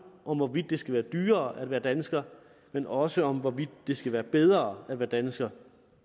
om hvorvidt det skal være dyrere at være dansker men også om hvorvidt det skal være bedre at være dansker